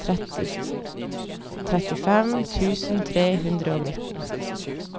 trettifem tusen tre hundre og nittien